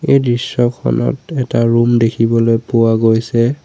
এই দৃশ্যখনত এটা ৰূম দেখিবলৈ পোৱা গৈছে।